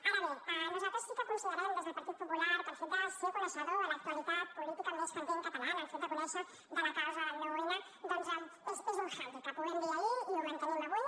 ara bé nosaltres sí que considerem des del partit popular que el fet de ser coneixedor de l’actualitat política més candent catalana el fet de conèixer de la causa del nou n doncs és un handicap ho vam dir ahir i ho mantenim avui